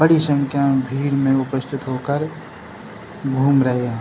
बड़ी संख्या मे भीड़ मे उपस्थित होकर घूम रहे है।